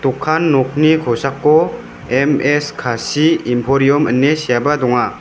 okan nokni kosako M_S kasi imporiam ine seaba donga.